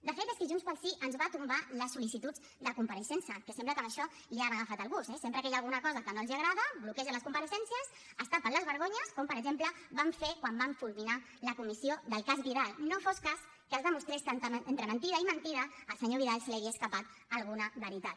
de fet és que junts pel sí ens va tombar les sol·licituds de compareixença que sembla que a això li han agafat el gust eh sempre que hi ha alguna cosa que no els agrada bloquegen les compareixences es tapen les vergonyes com per exemple van fer quan van fulminar la comissió del cas vidal no fos cas que es demostrés que entre mentida i mentida al senyor vidal se li havia escapat alguna veritat